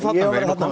þarna